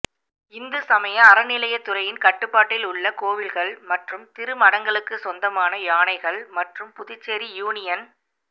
இந்து சமய அறநிலையத் துறையின் கட்டுப்பாட்டில் உள்ள கோயில்கள் மற்றும் திருமடங்களுக்குச் சொந்தமான யானைகள் மற்றும் புதுச்சேரி யூனியன்